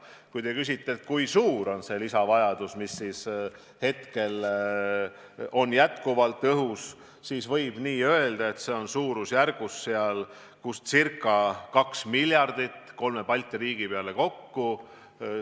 Kui te küsite, kui suur on see lisavajadus, mis hetkel on jätkuvalt õhus, siis võib öelda, et see on ca 2 miljardit kolme Balti riigi peale kokku.